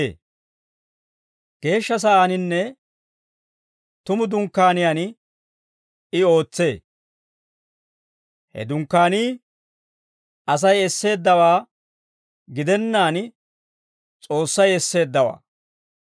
Geeshsha Sa'aaninne tumu Dunkkaaniyaan I ootsee; he Dunkkaanii Asay esseeddawaa gidennaan, S'oossay esseeddawaa.